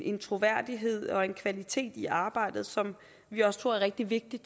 en troværdighed og en kvalitet i arbejdet som vi også tror er rigtig vigtigt